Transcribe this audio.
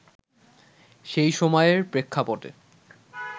সেই সময়ের প্রেক্ষাপটে